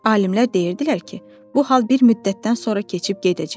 Alimlər deyirdilər ki, bu hal bir müddətdən sonra keçib gedəcək.